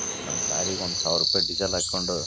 engine ಗಳನ್ನು ಮತ್ತು ಎಲ್ಲ ತರಹದ ಸರ್ವಿಸ್ ಗಳನ್ನು --